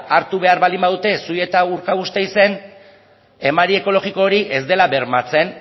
hartu behar baldin behar dute zuia eta urkabustaizen emari ekologiko hori ez dela bermatzen